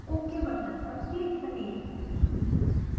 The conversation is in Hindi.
ok बटन पर क्लिक करें